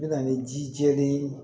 Bɛ na ni ji jɛlen ye